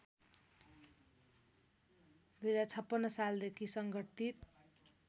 २०५६ सालदेखि सङ्गठित